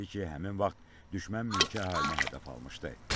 Bildirdi ki, həmin vaxt düşmən mülki əhalini hədəf almışdı.